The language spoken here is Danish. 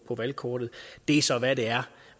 valgkortet det er så hvad det er